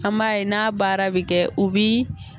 An m'a ye n'a baara bɛ kɛ u bi